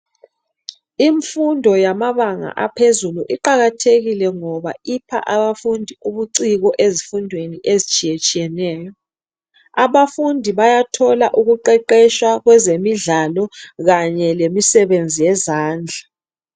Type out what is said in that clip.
Imfundo yamabanga aphezulu iqakathekile ipha abafundi ubuciko ezifundweni ezitshiyetshiyeneyo. Abafundi bayathola ukuqeqetshwa kwezemidlalo kanye lemisebenzi yezandla.